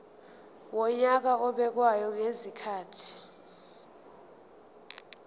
wonyaka obekwayo ngezikhathi